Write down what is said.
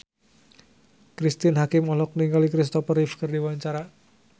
Cristine Hakim olohok ningali Christopher Reeve keur diwawancara